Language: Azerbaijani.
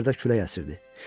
Bayırda külək əsirdi.